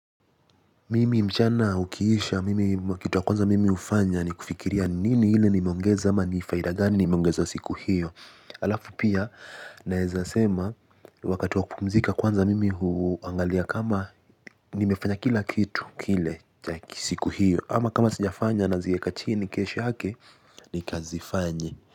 Mimi mchana ukiisha mimi kitu ya kwanza mimi hufanya ni kufikiria, nini ile nimeongeza ama ni faida gani nimeongeza siku hiyo. Alafu pia naeza sema. Wakati wa kupumzika kwanza mimi huangalia kama nimefanya kila kitu kile cha siku hiyo. Ama kama sijafanya nazieka chini kesho yake, nikazifanye.